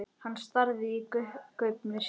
Hann starði í gaupnir sér.